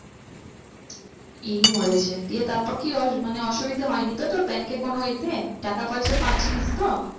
এই মরেছে দিয়ে তারপর কি মানে অসুবিধা হয়নি তো তোর bank এর কোনো এ তে? টাকা পয়সা পাচ্ছিলিস তো?